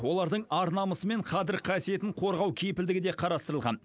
олардың ар намысы мен қадір қасиетін қорғау кепілдігі де қарастырылған